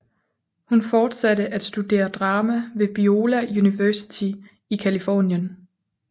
Hun fortsatte at studere drama ved Biola University i Californien